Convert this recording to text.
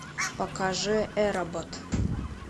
покажи эробот